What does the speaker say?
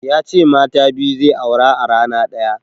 Ya ce mata biyu zai aura a rana ɗaya.